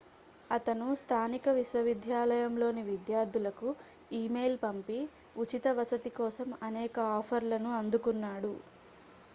అతను స్థానిక విశ్వవిద్యాలయంలోని విద్యార్థులకు ఇమెయిల్ పంపి ఉచిత వసతి కోసం అనేక ఆఫర్లను అందుకున్నాడు